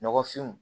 Nɔgɔfinw